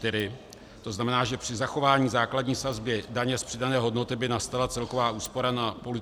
To znamená, že při zachování základní sazby daně z přidané hodnoty by nastala celková úspora na půl litru piva -